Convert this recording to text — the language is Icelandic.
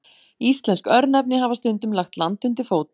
Íslensk örnefni hafa stundum lagt land undir fót.